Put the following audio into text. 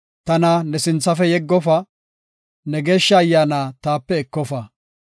Tana ne sinthafe yeggofa; ne Geeshsha Ayyaana taape ekofa.